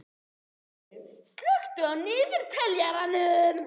Freylaug, slökktu á niðurteljaranum.